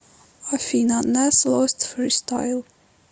афина нас лост фристайл